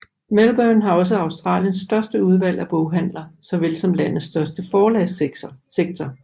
Melbourne har også Australiens største udvalg af boghandler såvel som landets største forlagssektor